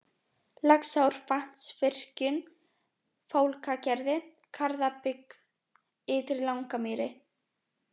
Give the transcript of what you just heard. Laxárvatnsvirkjun, Fálkagerði, Garðabyggð, Ytri Langamýri